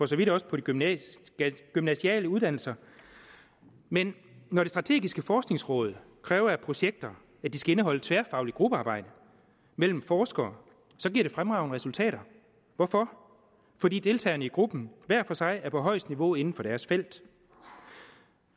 så vidt også på de gymnasiale gymnasiale uddannelser men når det strategiske forskningsråd kræver af projekter at de skal indeholde tværfagligt gruppearbejde mellem forskere giver det fremragende resultater hvorfor fordi deltagerne i gruppen hver for sig er på højeste niveau inden for deres felt